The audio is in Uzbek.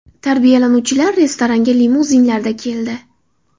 Tarbiyalanuvchilar restoranga limuzinlarda keldi.